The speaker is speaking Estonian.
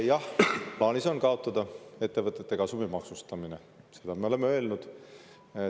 Jah, plaanis on kaotada ettevõtete kasumi maksustamine, seda me oleme öelnud.